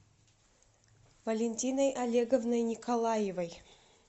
валентиной олеговной николаевой